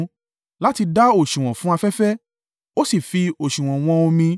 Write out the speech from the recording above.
láti dà òsùwọ̀n fún afẹ́fẹ́, ó sì fi òsùwọ̀n wọ́n omi.